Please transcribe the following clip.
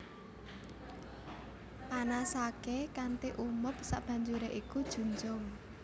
Panasaké kanthi umup sabanjuré iku junjung